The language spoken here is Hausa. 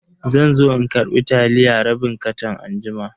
Zanzo in karbi taliya rabin katan anjima.